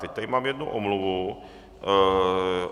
Teď tady mám jednu omluvu.